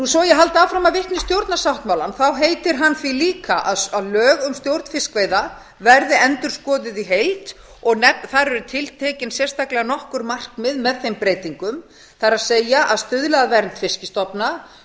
svo ég haldi áfram að vitna í stjórnarsáttmálann heitir hann því líka að lög um stjórn fiskveiða verði endurskoðuð í heild þar eru tiltekin sérstaklega nokkur markmið með þeim breytingum það er að stuðla að vernd fiskstofna